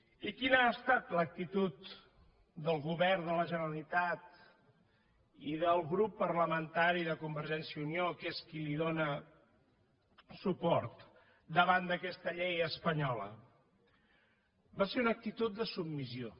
i quina ha estat l’actitud del govern de la generalitat i del grup parlamentari de convergència i unió que és qui li dóna suport davant d’aquesta llei espanyola va ser una actitud de submissió